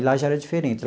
Lá já era diferente.